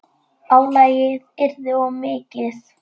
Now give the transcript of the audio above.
Álagið yrði of mikið.